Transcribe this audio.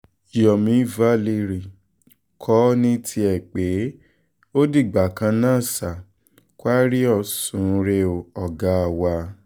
yomi valeri kò ní tiẹ̀ pé ó dìgbà kan ná sir kwarriors sun ún rè o ọ̀gá wa